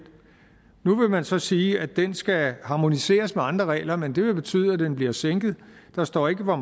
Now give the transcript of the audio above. nu vil man så sige at den skal harmoniseres med andre regler men det vil betyde at den bliver sænket der står ikke hvor